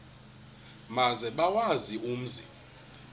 maze bawazi umzi